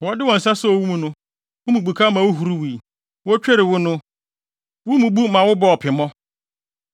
Wɔde wɔn nsa soo wo mu no, wo mu bukaw ma wuhuruwii, wotwerii wo no, wo mu bu ma wobɔɔ pemmɔ.